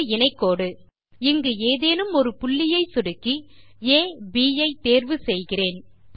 ஒரு இணை கோடு இங்கு ஏதேனும் ஒரு புள்ளியை சொடுக்கி அப் ஐ தேர்வு செய்கிறேன்